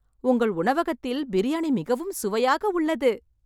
உங்கள் உணவகத்தில் பிரியாணி மிகவும் சுவையாக உள்ளது